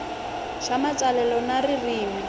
swa matsalelo na swa ririmi